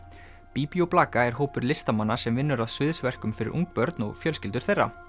Bíbí og blaka er hópur listamanna sem vinnur að fyrir ung börn og fjölskyldur þeirra